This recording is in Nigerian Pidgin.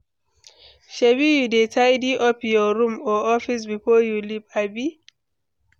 shebi you dey tidy up your room or office before your leave, abi?